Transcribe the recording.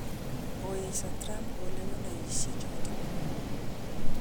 Koesio Trump kolewenoisiek choton.